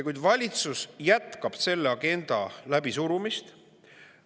Kuid valitsus jätkab selle agenda läbisurumist.